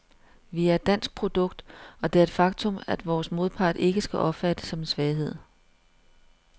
Vi er et dansk produkt, og det er et faktum, vores modpart ikke skal opfatte som en svaghed.